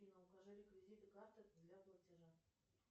афина укажи реквизиты карты для платежа